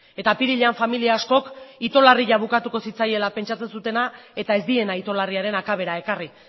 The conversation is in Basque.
eta apirilean familia askok ito larria bukatuko zitzaiela pentsatzen zutena eta ez diena ito larriaren akabera ekarri